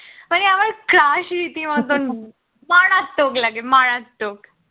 crush রীতি মতন মারাত্মক লাগে মারাত্মক